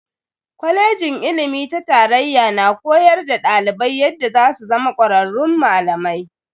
Kwalejin ilimi ta tarayya na koyar da dalibai yadda zasu zama kwararrun malamai.